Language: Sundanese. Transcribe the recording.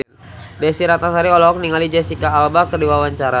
Desy Ratnasari olohok ningali Jesicca Alba keur diwawancara